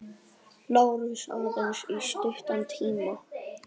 LÁRUS: Aðeins í stuttan tíma.